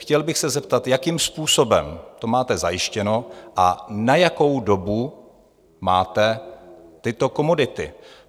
Chtěl bych se zeptat, jakým způsobem to máte zajištěno a na jakou dobu máte tyto komodity?